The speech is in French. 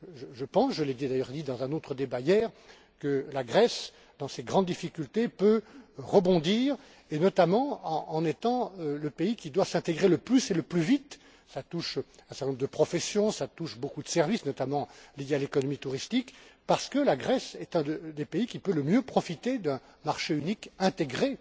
Je pense je l'ai d'ailleurs dit dans un autre débat hier que la Grèce, dans ses grandes difficultés, peut rebondir, et notamment en étant le pays qui doit s'intégrer le plus et le plus vite cela touche un certain nombre de professions, cela touche beaucoup de services, notamment liés à l'économie touristique parce que la Grèce est un des pays qui peut le mieux profiter d'un marché unique intégré